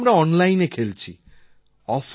খেলাও আমরা অনলাইনে খেলছি